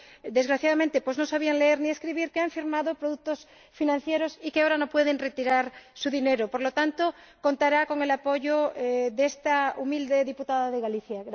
desgraciadamente no sabían leer ni escribir que han firmado contratos de productos financieros y ahora no pueden retirar su dinero. Por lo tanto, contará con el apoyo de esta humilde diputada de Galicia.